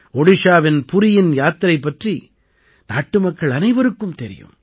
ஒடிஷாவின் புரியின் யாத்திரை பற்றி நாட்டுமக்கள் அனைவருக்கும் தெரியும்